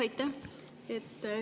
Aitäh!